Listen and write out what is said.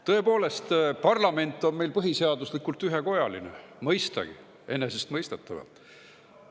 Tõepoolest, parlament on meil põhiseaduse järgi ühekojaline, mõistagi, enesestmõistetavalt.